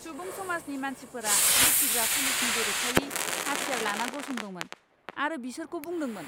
सुबुं समाजनि मानसिफोरा लुथिग्रा पुलिसनि बेरेखायै हाथियार लाना गसंदोंमोन आरो बिसोरखौ बुदोंमोन।